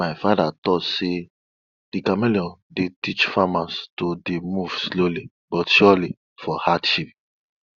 my father talk say de chameleon dey teach farmers to dey move slowly but surely for hardship